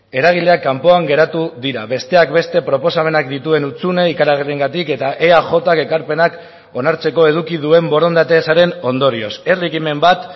eragileak kanpoan geratu dira besteak beste proposamenak dituen hutsune ikaragarriengatik eta eajk ekarpenak onartzeko eduki duen borondate ezaren ondorioz herri ekimen bat